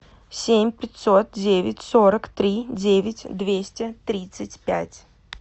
семь пятьсот девять сорок три девять двести тридцать пять